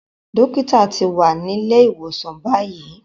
Dókítà ti wà nílé ìwòsàn báyìí.